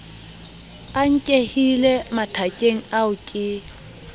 a nkehile mathakeng ao ke